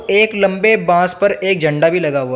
एक लम्बे बांस पर एक झंडा भी लगा हुआ--